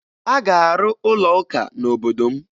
A ga-arụ ụlọụka n'obodo m